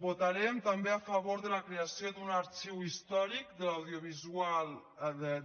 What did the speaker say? votarem també a favor de la creació d’un arxiu històric de l’audiovisual